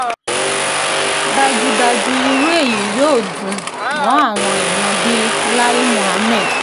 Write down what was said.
dájúdájú irú èyí yóò dùn mọ́ àwọn èyàn bíi lai muhammed